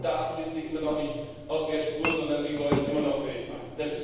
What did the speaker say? Und da sind Sie immer noch nicht auf der Spur, sondern Sie wollen immer noch Weltmarkt.